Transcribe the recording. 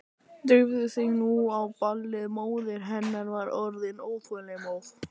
Drífðu þig nú á ballið, móðir hennar var orðin óþolinmóð.